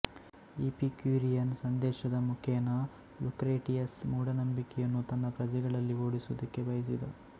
Epicurean ಸಂದೇಶದ ಮುಖೇನ Lucretius ಮೂಢನಂಬಿಕೆಯನ್ನು ತನ್ನ ಪ್ರಜೆಗಳಲ್ಲಿ ಓಡಿಸುವುದಕ್ಕೆ ಬಯಸಿದ